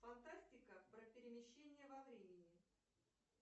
фантастика про перемещение во времени